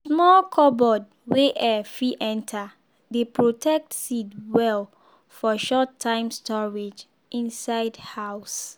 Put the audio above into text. small cupboard wey air fit enter dey protect seed well for short-time storage inside house.